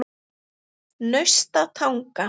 Naustatanga